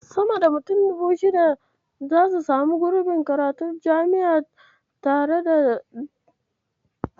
Sama da mutum 1600 zasu samu gurbin karatu a jami'ar tarayya ta Dutse, wannan shekarar.